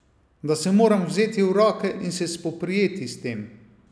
Da se moram vzeti v roke in se spoprijeti s tem.